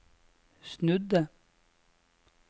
snudde